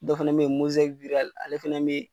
Dɔ fɛnɛ be yen ale fɛnɛ be yen